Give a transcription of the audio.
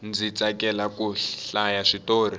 ndzi tsakela ku hlaya switori